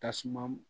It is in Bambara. Tasuma